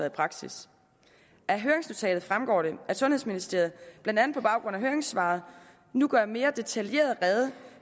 i praksis af høringsnotatet fremgår det at sundhedsministeriet blandt andet på baggrund af høringssvaret nu gør mere detaljeret rede